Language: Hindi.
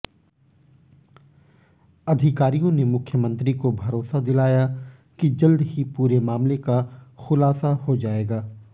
अधिकारियों ने मुख्यमंत्री को भरोसा दिलाया कि जल्द ही पूरे मामले का खुलासा हो जाएगा